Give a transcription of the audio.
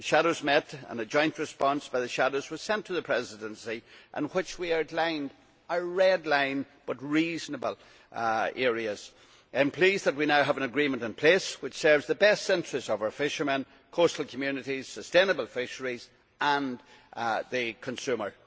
The shadows met and a joint response by the shadows was sent to the Presidency, in which we outlined our red lined, but reasonable, areas. I am pleased that we now have an agreement in place which serves the best interests of our fishermen, coastal communities, sustainable fisheries and the consumer.